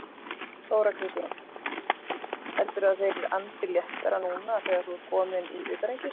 Þóra Kristín: Heldurðu að þeir andi léttara núna þegar þú ert kominn í utanríkismálin?